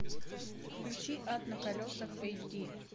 включи ад на колесах эйч ди